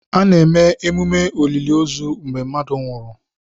A na-eme emume oliliozu mgbe mmadụ nwụrụ.